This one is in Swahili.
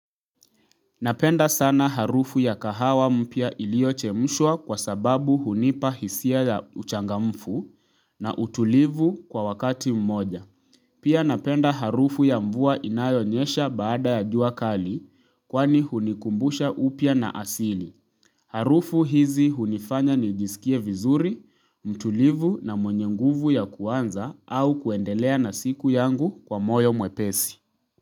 Napenda sana harufu ya kahawa mpya iliochemshwa kwa sababu hunipa hisia ya uchangamfu na utulivu kwa wakati mmoja. Pia napenda harufu ya mvua inayonyesha baada ya juakali kwani hunikumbusha upya na asili. Harufu hizi hunifanya ni jisikie vizuri, mtulivu na mwenye nguvu ya kuanza au kuendelea na siku yangu kwa moyo mwepesi.